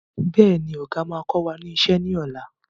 Bẹ́ẹ̀ni, Ọ̀gá máa kọ wá ní ìṣe ni ọ̀la.